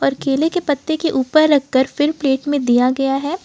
और केले के पत्ते के ऊपर रखकर फिर प्लेट में दिया गया है।